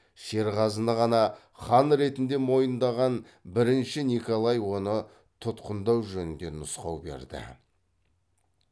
шерғазыны ғана хан ретінде мойындаған бірінші николай оны тұтқындау жөнінде нұсқау берді